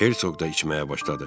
Hersoq da içməyə başladı.